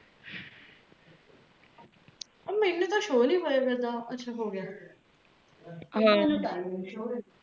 ਓਹ ਮੈਨੂ ਤ ਸ਼ੋਅ ਨਹੀਂ ਹੋਇਆ ਕਰਦਾ ਅਛਾ ਹੋ ਗਿਆ